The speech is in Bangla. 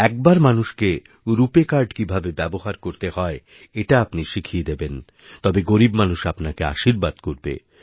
একবার মানুষকে রুপেকার্ড কীভাবে ব্যবহার করতে হয় এটা আপনি শিখিয়ে দেবেনতবে গরীব মানুষ আপনাকে আশীর্বাদ করবে